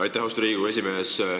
Aitäh, austatud Riigikogu esimees!